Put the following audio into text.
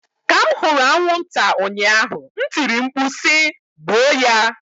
Ka m hụrụ anwụnta ụnyaahụ m tiri mkpu si "gbuo ya!"